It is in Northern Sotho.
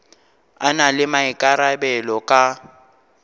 a na le maikarabelo ka